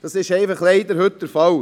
Dies ist leider heute der Fall.